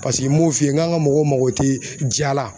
Paseke m'o f'i ye ŋ'an ŋa mɔgɔw mago te ja la